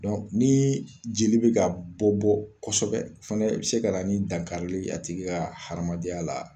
ni jeli bɛ ka bɔ bɔ kosɛbɛ, o fɛnɛ bɛ se ka na ni dankarili ye a tigi ka hadamadenya la.